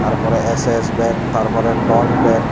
tar pore S_S bet tar por T_O_N bet.